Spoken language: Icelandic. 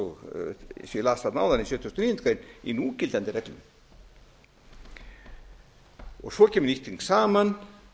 las þarna áðan í sjötugasta og níundu grein í núgildandi reglum svo kemur nýtt þing saman